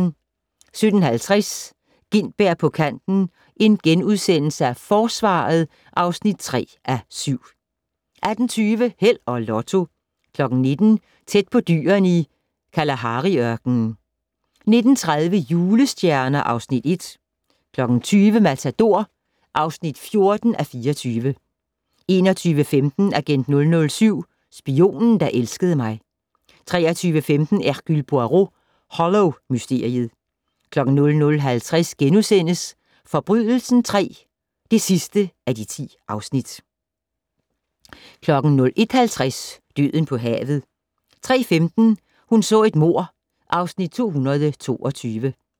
17:50: Gintberg på kanten - Forsvaret (3:7)* 18:20: Held og Lotto 19:00: Tæt på dyrene i Kalahari-ørkenen 19:30: Julestjerner (Afs. 1) 20:00: Matador (14:24) 21:15: Agent 007 - Spionen, der elskede mig 23:15: Hercule Poirot: Hollow-mysteriet 00:50: Forbrydelsen III (10:10)* 01:50: Døden på havet 03:15: Hun så et mord (Afs. 222)